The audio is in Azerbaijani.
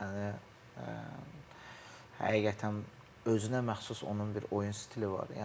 Kənan Yıldız, yəni həqiqətən özünə məxsus onun bir oyun stili var.